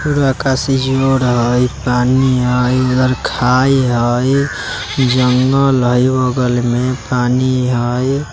पूरा आकाश इन्जोर हई पानी हई उधर खाई हई जंगल हई बगल में पानी हई।